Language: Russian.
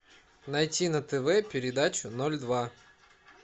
найти на тв передачу ноль два